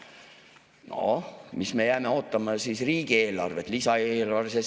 Noh, jääme ootama siis riigieelarvet, lisaeelarvet.